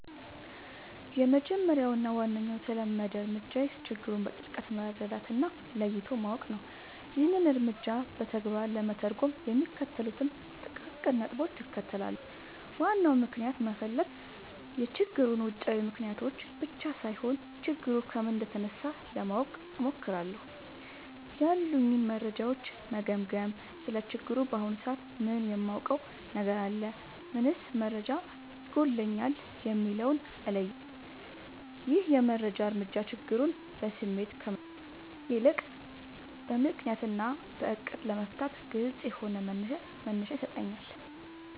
—የመጀመሪያው እና ዋነኛው የተለመደ እርምጃዬ ችግሩን በጥልቀት መረዳት እና ለይቶ ማወቅ ነው። ይህንን እርምጃ በተግባር ለመተርጎም የሚከተሉትን ጥቃቅን ነጥቦች እከተላለሁ፦ ዋናውን ምክንያት መፈለግ፣ የችግሩን ውጫዊ ምልክቶች ብቻ ሳይሆን፣ ችግሩ ከምን እንደተነሳ ለማወቅ እሞክራለሁ። ያሉኝን መረጃዎች መገምገም: ስለ ችግሩ በአሁኑ ሰዓት ምን የማውቀው ነገር አለ? ምንስ መረጃ ይጎድለኛል? የሚለውን እለያለሁ። ይህ የመጀመሪያ እርምጃ ችግሩን በስሜት ከመጋፈጥ ይልቅ በምክንያት እና በዕቅድ ለመፍታት ግልጽ የሆነ መነሻ ይሰጠኛል።